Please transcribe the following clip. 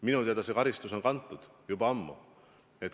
Minu teada see karistus on kantud, juba ammu.